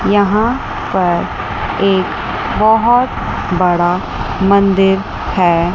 यहां पर एक बहोत बड़ा मंदिर है।